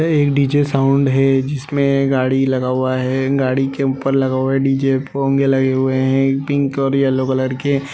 एक DJ sound है जिसमें गाड़ी लगा हुआ है गाड़ी के ऊपर लगा हुआ है | डीजे पोंगे लगे हुए हैं पिंक और येल्लो कलर के।